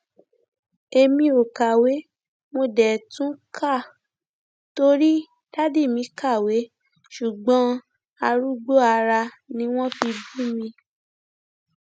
èmi ò kàwé mo dé tún ká torí dádì mi kàwé ṣùgbọn arúgbó ara ni wọn fi bí mi